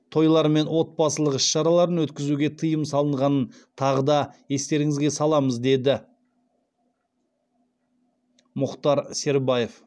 тойлар мен отбасылық іс шараларын өткізуге тыйым салынғанын тағы да естеріңізге саламыз деді мұхтар сербаев